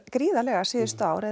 gríðarlega síðustu ár